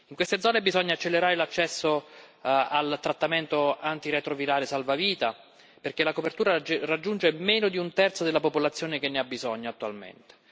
In queste zone bisogna accelerare l'accesso al trattamento antiretrovirale salvavita, perché la copertura raggiunge meno di un terzo della popolazione che ne ha bisogno attualmente.